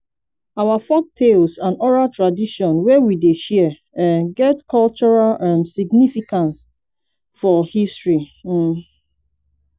our folktales and oral tradition wey we dey share um get cultural um significance for history um